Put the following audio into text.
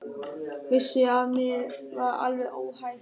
Vissi að mér var alveg óhætt.